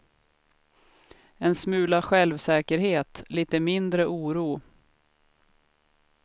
En smula självsäkerhet, lite mindre oro.